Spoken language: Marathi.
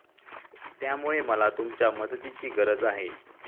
त्यामुळे मला तुमच्या मदतीची गरज आहे.